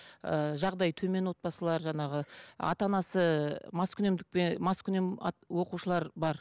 ыыы жағдайы төмен отбасылар жаңағы ата анасы маскүнем оқушылар бар